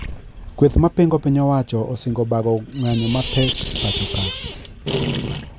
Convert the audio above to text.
Kweth mapingo piny owacho osingo bago ng`nyo mapek pacho kae